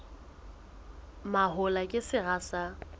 mahola ke sera sa pele